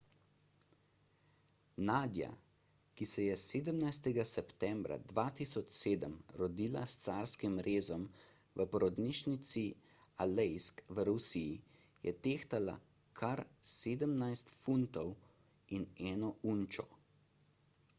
nadia ki se je 17 septembra 2007 rodila s carskim rezom v porodnišnici aleisk v rusiji je tehtala kar 17 funtov in 1 unčo